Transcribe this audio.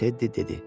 Tedi dedi.